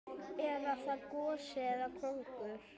Er það gosi eða kóngur?